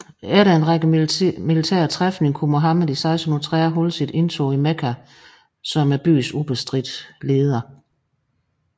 Efter en række militære træfninger kunne Muhammed i 630 holde sit indtog i Mekka som byens ubestridte leder